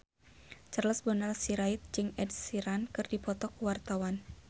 Charles Bonar Sirait jeung Ed Sheeran keur dipoto ku wartawan